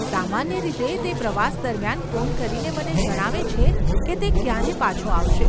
સામાન્ય રીતે તે પ્રવાસ દરમિયાન ફોન કરીને મને જણાવે છે કે તે ક્યારે પાછો આવશે.